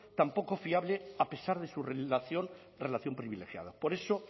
tan poco fiable a pesar de su relación privilegiada por eso